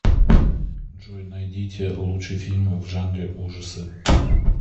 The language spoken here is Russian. джой найдите лучший фильм в жанре ужасы